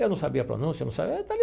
Eu não sabia a pronúncia, não sabia.